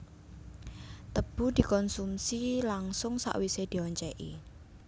Tebu dikonsumsi langsung sawisé dioncèki